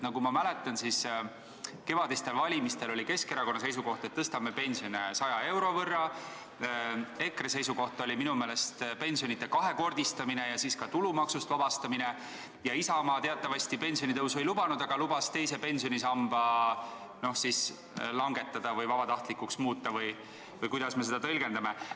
Nagu ma mäletan, siis kevadistel valimistel oli Keskerakonna seisukoht, et tõstame pensione 100 euro võrra, EKRE seisukoht oli minu meelest pensionide kahekordistamine ja ka tulumaksust vabastamine ning Isamaa teatavasti pensionitõusu ei lubanud, aga lubas teise pensionisamba vabatahtlikuks muuta või kuidas me seda siis tõlgendamegi.